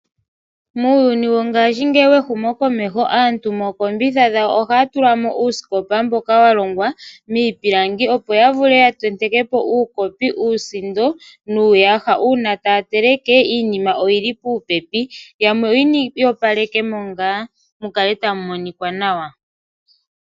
Muuyuni wongashingeyi wehumokomeho aantu mookombitha dhawo ohaya tula mo uusikopa mboka wa longwa miipilangi, opo ya vule ya tenteke po uukopi, uusindo nuuyaha. Uuna taya teleke iinima oyi li popepi. Yamwe oya opaleke mo ngaa mu kale tamu monika nawa.